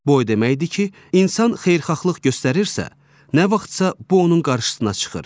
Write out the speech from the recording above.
Bu o deməkdir ki, insan xeyirxahlıq göstərirsə, nə vaxtsa bu onun qarşısına çıxır.